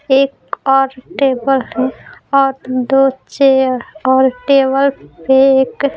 एक और टेबल है और दो चेयर और टेबल पे एक --